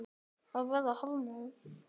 Verðið hækkar ekki mikið meira.